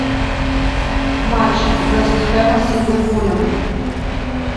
матч вест хэма с ливерпулем